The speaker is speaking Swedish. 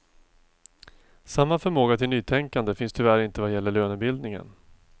Samma förmåga till nytänkande finns tyvärr inte vad gäller lönebildningen.